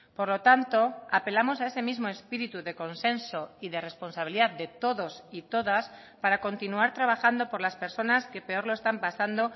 por lo tanto apelamos a ese mismo espíritu de consenso y de responsabilidad de todos y todas para continuar trabajando por las personas que peor lo están pasando